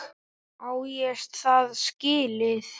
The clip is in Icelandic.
Á ég það skilið?